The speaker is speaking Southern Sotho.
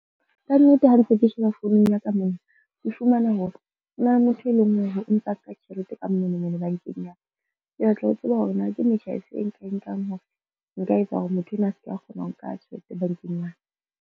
Kannete ha ntse ke sheba founung ya ka mona, ke fumana hore ho na le motho e leng hore o ntsa nka tjhelete ka bomenemene bankeng ya ka. Ke batla ho tseba hore na ke metjha e feng, e nkang hore nka etsa hore motho enwa a ska kgona ho nka tjhelete bankeng mane.